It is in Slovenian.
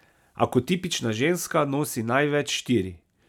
A kot tipična ženska nosi največ štiri.